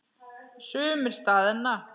Sumir staðna.